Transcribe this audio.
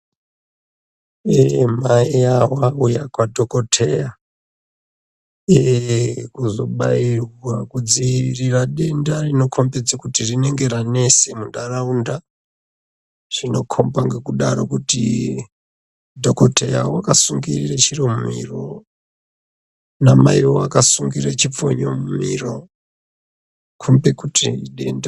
Mai avo vauya kwadhokodheya, kuzobayirwa kudzivirira denda rinokombidze kuti rinenge ranese muntaraunda. Zvinokomba ngekudaro kuti dhokodheya wakasungirire chiromo mumhiro namaiwo vakasungirire chipfonye mumhiro, kombe kuti idenda.